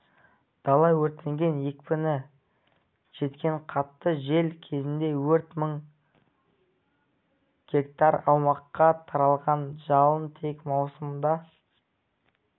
дала өртенген екпіні жеткен қатты жел кезінде өрт мың гектар аумаққа таралған жалын тек маусымда